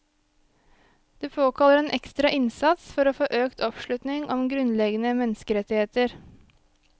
Det påkaller en ekstra innsats for å få økt oppslutning om grunnleggende menneskerettigheter.